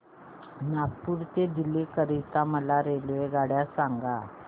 नागपुर ते दिल्ली करीता मला रेल्वेगाड्या सांगा